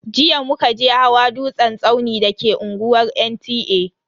Jiya muka je hawa dutsen tsauni da ke unguwar NTA.